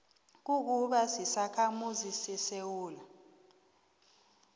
kukuba sisakhamuzi sesewula